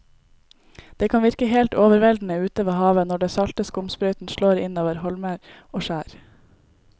Det kan virke helt overveldende ute ved havet når den salte skumsprøyten slår innover holmer og skjær.